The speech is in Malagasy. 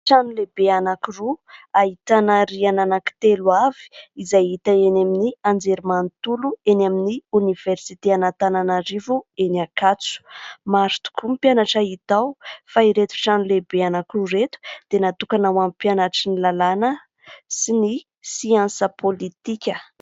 Trano lehibe anankiroa ahitana rihana ana-kitelo avy izay hita eny amin'ny anjerimanontolo eny amin'ny oniversite Antananarivo eny Ankatso. Maro tokoa ny mpianatra hita ao fa ireto trano lehibe anankiroa ireto dia natokana ho amin'ny mpianatry ny lalàna sy ny siansa pôlitika.